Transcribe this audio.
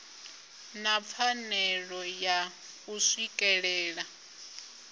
na pfanelo ya u swikelela